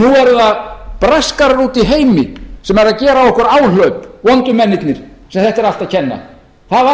nú eru það braskarar úti í heimi sem eru að gera á okkur áhlaup vondu mennirnir sem þetta er allt að kenna það var